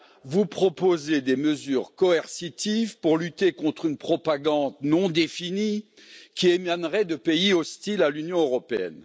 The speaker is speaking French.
Vous proposez des mesures coercitives pour lutter contre une propagande non définie, qui émanerait de pays hostiles à l'Union européenne.